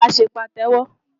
Ṣé wàá ṣe Pàtẹ́wọ́?